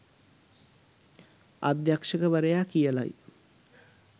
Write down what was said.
අධ්‍යක්ෂවරයා කියලයි.